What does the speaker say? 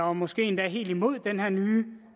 og måske helt imod den her nye